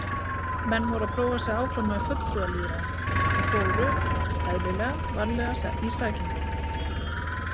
Menn voru að prófa sig áfram með fulltrúalýðræði og fóru, eðlilega, varlega í sakirnar.